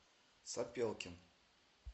сапелкин